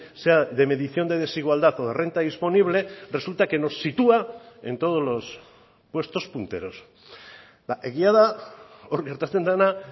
sea de medición de desigualdad o de renta disponible resulta que nos sitúa en todos los puestos punteros egia da hor gertatzen dena